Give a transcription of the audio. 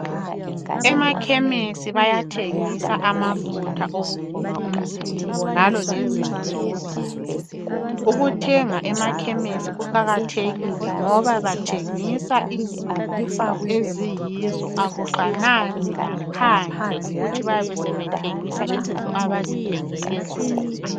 Emakhemesi bayathengisa amafutha okugcoba umzimba njalo lezinto zokugeza ukuthenga emakhemesi kuqakathekile ngoba bathengisa izinto eziyizo akufanani laphandle ukuthi bayabe sebethengisa izinto abaziphekele zona.